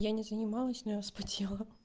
я не занимаюсь но я вспотела